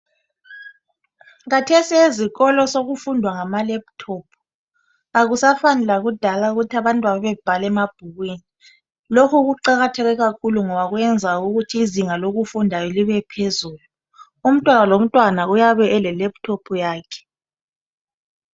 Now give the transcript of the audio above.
Kathesi ezikolo sokufundwa ngama lephuthophu akusafani lakudala ukuthi abantu babebhala emabhukwini lokhu kuqakatheke kakhulu ngoba kuyenza ukuthi izinga lokufunda libe phezulu umntwana lo mntwana uyabe ele lephuthophu yakhe.